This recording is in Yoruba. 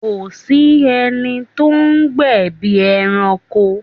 Kò sí ẹni tó ń gbẹ̀bí ẹranko